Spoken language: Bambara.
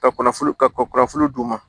Ka kunnafoni ka kunnafoni d'u ma